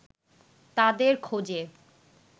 তাদের খোঁজে